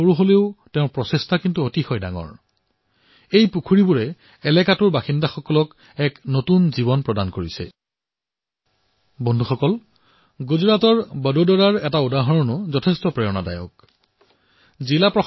হব পাৰে যে তেওঁ বনোৱা পুখুৰীসমূহ বৃহৎ নহয় কিন্তু যি প্ৰয়াস তেওঁ কৰিছে তাৰ দ্বাৰা সমগ্ৰ অঞ্চলটো উপকৃত হৈছে